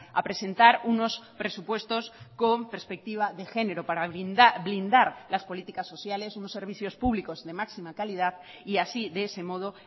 a presentar unos presupuestos con perspectiva de genero para blindar las políticas sociales unos servicios públicos de máxima calidad y así de ese modo